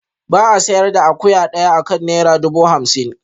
Ba a sayar da akuya daya akan naira dubu hamsin